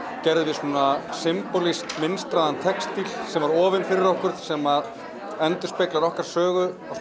gerðum við svona symbolískt mynstraðan textíl sem var ofinn fyrir okkur sem endurspeglar okkar sögu á